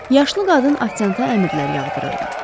Yaşlı qadın ofsianta əmrlər yağdırırdı.